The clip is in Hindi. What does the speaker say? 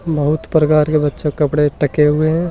बहुत प्रकार के बच्चों के कपड़े टके हुए हैं।